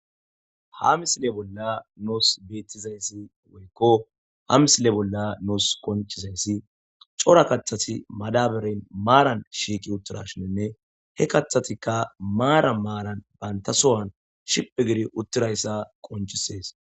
Ha misile bolla nuus beettizayssi woykko ha misile bolla nuus konciizayssi cora kaththati madaberen maaran shiiqi uttirashininne he kathatikka maara maaran baynta sowan shiphphi gidi uttirayssa qonciisees